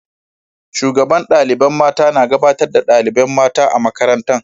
Shugaban dalibain mata na gabatar da dalibain mata a'makarantan.